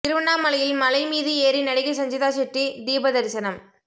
திருவண்ணாமலையில் மலை மீது ஏறி நடிகை சஞ்சிதா ஷெட்டி தீப தரிசனம்